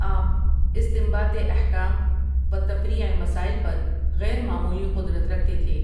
آپ استنباط احکام و تفریع مسائل پر غیر معمولی قدرت رکھتے تھے۔